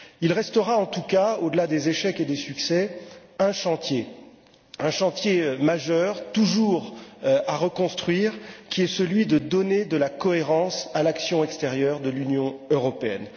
Il restera en tout cas, au delà des échecs et des succès, un chantier majeur, toujours à reconstruire, qui consiste à donner de la cohérence à l'action extérieure de l'Union européenne.